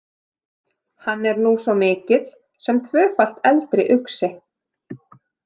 Hann er nú svo mikill sem tvöfalt eldri uxi.